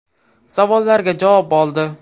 Savollariga javob oldi.